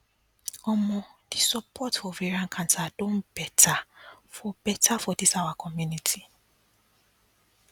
omo the support for ovarian cancer don better for better for this our community